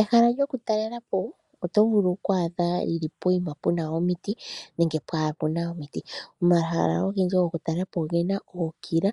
Ehala lyokutalela po oto vulu okwaatha puna omiti nenge pwaana omiti. Omahala ogendji gokutalela po ogena ookila